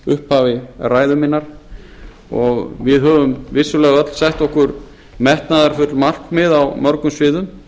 upphafi ræðu minnar við höfum vissulega öll sett okkur metnaðarfull markmið á mörgum sviðum